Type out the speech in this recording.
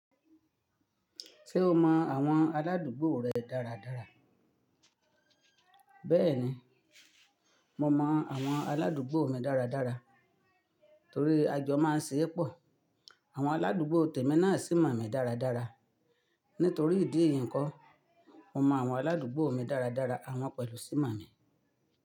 Ṣé o mọ àwọn aládùúgbò rẹ dáradára? Bẹ́ẹ̀ni, mo mọ àwọn aládùúgbò mi dáradára torí a jọ máa ń se epọ̀. Àwọn aládùúgbò tèmi náà sì mọ̀ mí dáradára. Nítorí ìdí èyí n kọ́, mo mọ àwọn aládùúgbò mi dáradára àwọn pẹ̀lú sì mọ̀ mí.